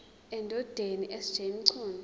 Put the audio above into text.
endodeni sj mchunu